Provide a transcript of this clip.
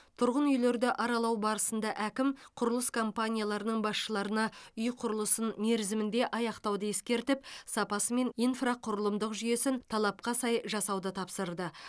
тұрғын үйлерді аралау барысында әкім құрылыс компанияларының басшыларына үй құрылысын мерзімінде аяқтауды ескертіп сапасы мен инфрақұрылымдық жүйесін талапқа сай жасауды тапсырды